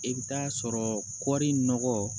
I bɛ taa sɔrɔ kɔri nɔgɔ